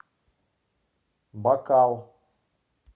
бакал